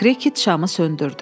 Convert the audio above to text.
Krıket şamı söndürdü.